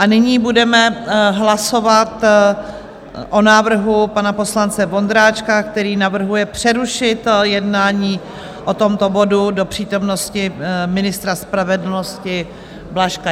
A nyní budeme hlasovat o návrhu pana poslance Vondráčka, který navrhuje přerušit jednání o tomto bodu do přítomnosti ministra spravedlnosti Blažka.